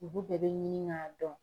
Olu bɛɛ bɛ ɲini k'a dɔn.